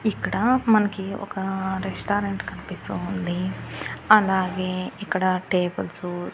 ఇక్కడ మనకి ఒక రెస్టారెంట్ కనిపిస్తూ ఉంది అలాగే ఇక్కడ టేబుల్సు .